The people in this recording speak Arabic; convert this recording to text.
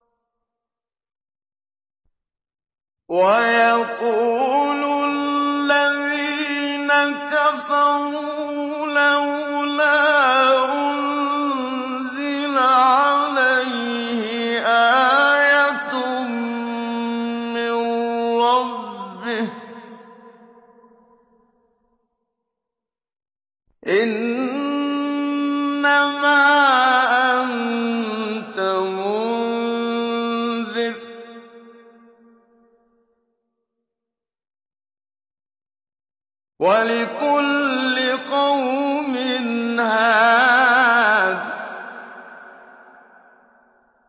وَيَقُولُ الَّذِينَ كَفَرُوا لَوْلَا أُنزِلَ عَلَيْهِ آيَةٌ مِّن رَّبِّهِ ۗ إِنَّمَا أَنتَ مُنذِرٌ ۖ وَلِكُلِّ قَوْمٍ هَادٍ